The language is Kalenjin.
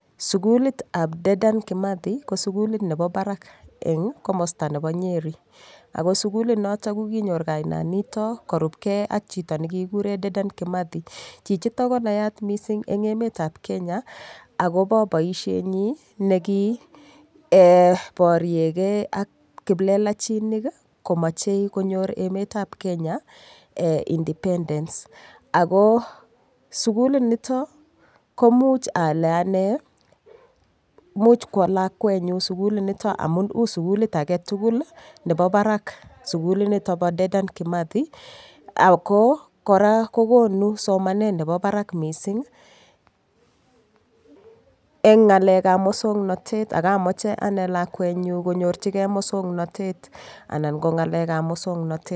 Sukulitab Dedan Kimathi ko sukulit nebo barak eng' komosta nebo Nyeri ako sukulinito koinyoru kainanito korupgei ak chito nekikikuree Dedan Kimathi chichito konayaat mising' eng' emetab Kenya akobo boishenyi nekiboriegei ak kiplelachinik komochei konyor emetab Kenya independence ako sukulinito komuch ale ane much kwo lakwenyi sukulinito amun uu sukulit agetugul nebo barak sukulinito bo Dedan Kimathi ako kora kokonu somanet nebo barak mising' eng' ng'alekab mosong'natet akamoche ane lakwenyi konyorvhigei mosong'natet anan ko ng'alekab mosong'natet